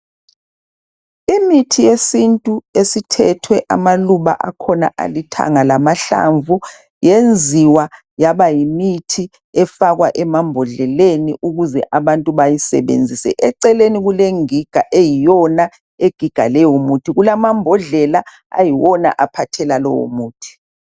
Imithi yesintu esithethwe amaluba akhona alithanga lamahlamvu yenziwa yaba yimithi efakwa emambodleleni ukuze abantu beyi sebenzise eceleni kulengigaeyiyona egiga leyo mithi kulamabhodlela ayiwona aphathela lewo muthi